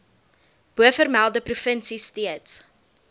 bovermelde provinsie steeds